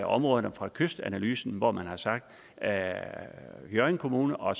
områderne fra kystanalysen hvor man har sagt at hjørring kommune og